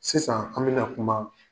Sisan an bena kuma